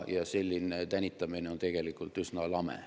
Selline tänitamine on tegelikult üsna lame.